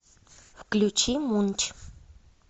включи мунч